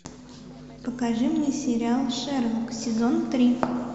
покажи мне сериал шерлок сезон три